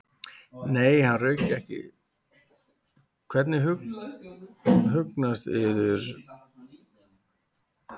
Mér lék forvitni á hvað hesturinn kynni að hugsa um þetta.